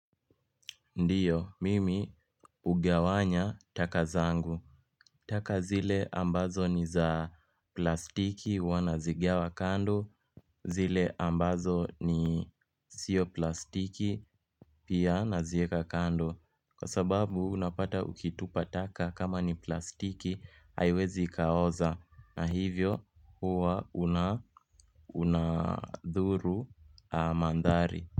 Ndiyo, mimi ugawanya taka zangu. Taka zile ambazo ni za plastiki wanazigawa kando, zile ambazo ni sio plastiki pia nazieka kando. Kwa sababu, unapata ukitupa taka kama ni plastiki, haiwezi kaoza. Na hivyo, huwa unadhuru mandhari.